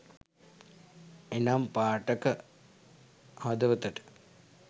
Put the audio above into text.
එනම් පාඨක හදවතට